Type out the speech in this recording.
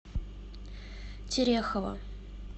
терехова